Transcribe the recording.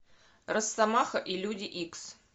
росомаха и люди икс